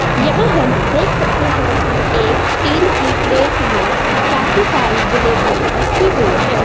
यहां हम देख सकते हैं कि एक स्टील की प्लेट में काफी सारी जलेबियां रखी हुई है।